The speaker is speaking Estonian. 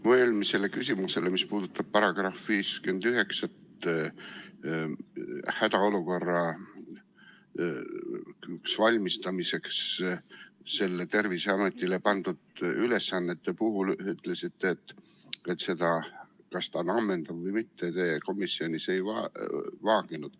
Mu eelmisele küsimusele, mis puudutas § 59, hädaolukorraks valmistumisel Terviseametile pandud ülesandeid, te vastasite, et seda, kas on ammendav või mitte, te komisjonis ei vaaginud.